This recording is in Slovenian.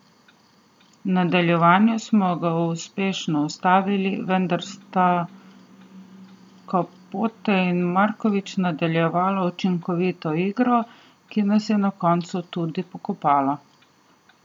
V nadaljevanju smo ga uspešno ustavili, vendar sta Capote in Marković nadaljevala učinkovito igro, ki nas je na koncu tudi pokopala.